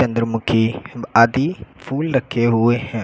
चंद्रमुखी आदि फूल लखे हुए हैं।